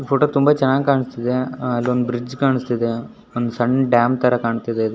photo ತುಂಬಾ ಚೆನ್ನಾಗಿ ಕಾಣಿಸ್ತಿದೆ ಅಲ್ಲೊಂದು ಬ್ರಿಜ್ ಕಾಣಿಸ್ತಿದೆ ಒಂದ್ ಸಣ್ಣ ಡ್ಯಾಮ್ ತರ ಕಾಣಿಸ್ತಿದೆ ಅದು--